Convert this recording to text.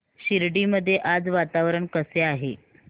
शिर्डी मध्ये आज वातावरण कसे आहे